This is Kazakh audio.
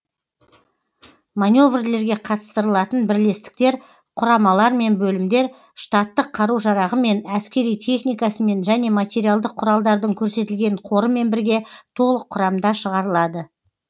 маневрлерге қатыстырылатын бірлестіктер құрамалар мен бөлімдер штаттық қару жарағымен әскери техникасымен және материалдық құралдардың көрсетілген қорымен бірге толық құрамда шығарылады